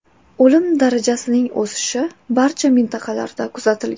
O‘lim darajasining o‘sishi barcha mintaqalarda kuzatilgan.